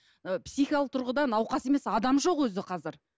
ы психикалық тұрғыда науқас емес адам жоқ өзі қазір